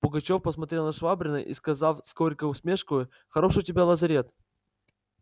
пугачёв посмотрел на швабрина и сказал с горькой усмешкою хорош у тебя лазарет